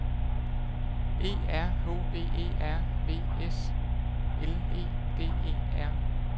E R H V E R V S L E D E R